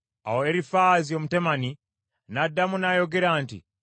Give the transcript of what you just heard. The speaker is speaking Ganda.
Awo Erifaazi Omutemani n’addamu n’ayogera nti,